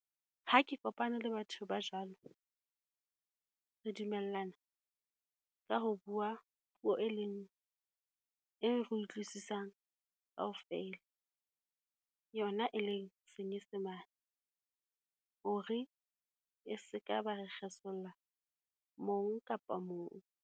Ha ke kopane le batho ba jwalo. Re dumellana ka ho bua puo e leng, e re e utlwisisang kaofela, yona e leng senyesemane. Hore e seka ba re kgesolla mong kapa mong.